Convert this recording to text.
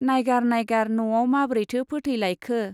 नाइगार नाइगार न'आव माब्रैथो फोथैलायखो!